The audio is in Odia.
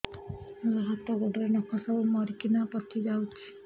ମୋ ହାତ ଗୋଡର ନଖ ସବୁ ମରିକିନା ପଚି ଯାଉଛି